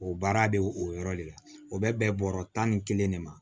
O baara bɛ o yɔrɔ le la o bɛ bɛn bɔrɔ tan ni kelen de ma